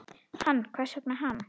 Hann, hvers vegna hann?